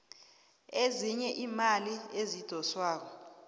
ezinye iimali ezidoswako